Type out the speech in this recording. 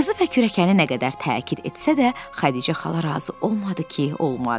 Qızı və kürəkəni nə qədər təkid etsə də, Xədicə xala razı olmadı ki, olmadı.